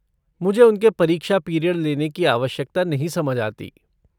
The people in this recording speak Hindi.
मुझे उनके परीक्षा पीरियड लेने की आवश्यकता नहीं समझ आती।